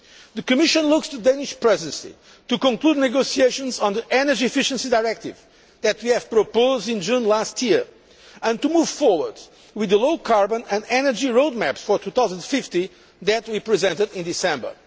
The Commission looks to the Danish Presidency to conclude negotiations on the energy efficiency directive that we proposed in June last year, and to move forward with the low carbon energy road map for 2050 that we presented in December.